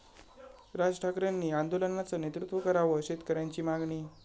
राज ठाकरेंनी आंदोलनाचं नेतृत्व करावं, शेतकऱ्यांची मागणी